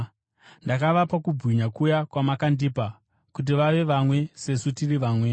Ndakavapa kubwinya kuya kwamakandipa, kuti vave vamwe sesu tiri vamwe: